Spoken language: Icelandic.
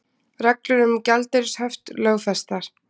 Reglur um gjaldeyrishöft lögfestar